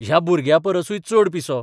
ह्या भुरग्यापरसूय चड 'पिसो '.